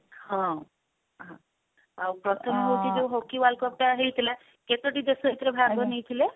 ହଁ ଆଉ ପ୍ରଥମ ହଉଛି ଯଉ hockey world cup ଟା ହେଇଥିଲା କେତୋଟି ଦେଶ ଏଇଥିରେ ଭାଗ ନେଇଥିଲେ?